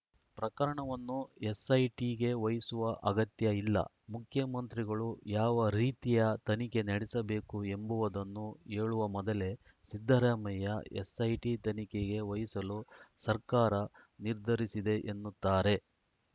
ಪ್ರಕರಣವನ್ನು ಎಸ್‌ಐಟಿಗೆ ವಹಿಸುವ ಅಗತ್ಯ ಇಲ್ಲ ಮುಖ್ಯಮಂತ್ರಿಗಳು ಯಾವ ರೀತಿಯ ತನಿಖೆ ನಡೆಸಬೇಕು ಎಂಬುವುದನ್ನು ಹೇಳುವ ಮೊದಲೇ ಸಿದ್ದರಾಮಯ್ಯ ಎಸ್‌ಐಟಿ ತನಿಖೆಗೆ ವಹಿಸಲು ಸರ್ಕಾರ ನಿರ್ಧರಿಸಿದೆ ಎನ್ನುತ್ತಾರೆ